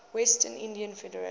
west indies federation